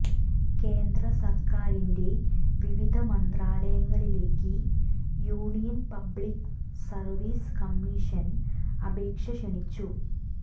കേന്ദ്രസർക്കാരിന്റെ വിവിധ മന്ത്രാലയങ്ങളിലേക്ക് യൂണിയൻ പബ്ലിക് സർവീസ് കമീഷൻ അപേക്ഷ ക്ഷണിച്ചു